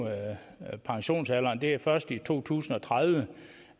pensionsalderen det er først i to tusind og tredive